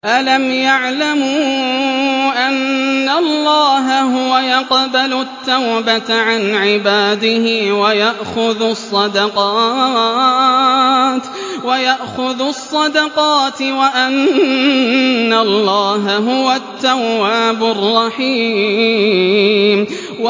أَلَمْ يَعْلَمُوا أَنَّ اللَّهَ هُوَ يَقْبَلُ التَّوْبَةَ عَنْ عِبَادِهِ وَيَأْخُذُ الصَّدَقَاتِ وَأَنَّ اللَّهَ هُوَ التَّوَّابُ الرَّحِيمُ